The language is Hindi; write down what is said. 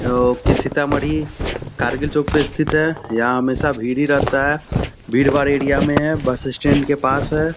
ओ की सीतामढ़ी कारगिल चौक में स्थित है यहाँ हमेशा भीड़ ही रहता है भीड़-भाड़ एरिया में है बस स्टैंड के पास है।